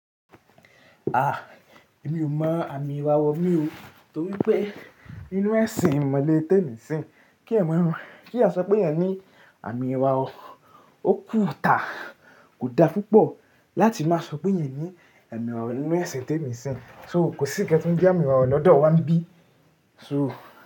Ah! Èmi ò mọ àmì ìràwọ̀ mi o, torí pé nínú ẹ̀sìn ìmọ̀le téèmìsìn kí ẹ̀eyan mọ̀ ọ́n, kí eeyan sọ pé eeyẹn ní àmì ìràwọ̀, ó kù tà. Kò da púpọ̀ láti máa sọ pé eeyan ni ami irawo nínú ẹ̀sìn téènìsìn. So kò sí ǹkan tí ń jẹ́ àmì ìràwọ̀ lọ́dọ̀ wá bíi so.